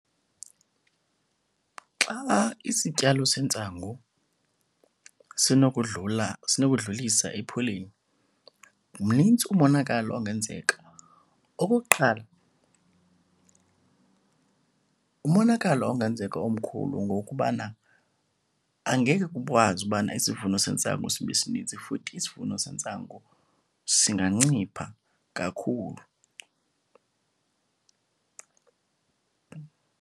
Xa isityalo sentsangu sinokudlula sinokudlulisa ephuleni mnintsi umonakalo ongenzeka. Okokuqala umonakalo ongenzeka omkhulu ngowokubana angeke kukwazi ubana isivuno sentsangu sibe sininzi, futhi isivuno sentsangu singancipha kakhulu.